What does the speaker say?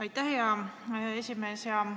Aitäh, hea esimees!